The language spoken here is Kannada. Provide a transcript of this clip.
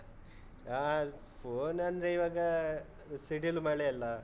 ಆಹ್ phone ಅಂದ್ರೆ ಇವಾಗ ಸಿಡಿಲು ಮಳೆ ಅಲ್ಲ.